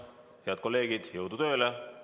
Head kolleegid, jõudu tööle!